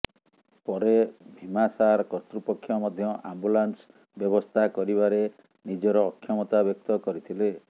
ପରେ ଭିମାସାର କର୍ତ୍ତୃପକ୍ଷ ମଧ୍ୟ ଆମ୍ବୁଲାନସ ବ୍ୟବସ୍ତା କରିବାରେ ନିଜର ଅକ୍ଷମତା ବ୍ୟକ୍ତ କରିଥିଲେ